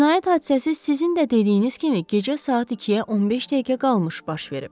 Cinayət hadisəsi sizin də dediyiniz kimi gecə saat 2-ə 15 dəqiqə qalmış baş verib.